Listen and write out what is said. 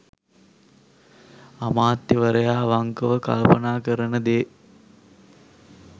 අමාත්‍යවරයා අවංකව කල්පනා කරන දේ